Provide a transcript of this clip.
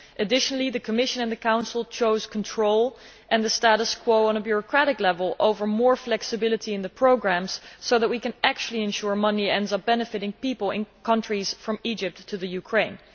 Additionally, the Commission and the Council chose control and the status quo on a bureaucratic level over more flexibility in the programmes so that we can actually ensure that money ends up benefiting people in countries from Egypt to the Ukraine.